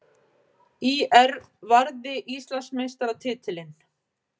ÍR varði Íslandsmeistaratitilinn